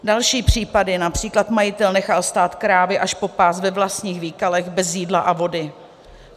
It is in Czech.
Další případy: Například majitel nechal stát krávy až po pás ve vlastních výkalech bez jídla a vody.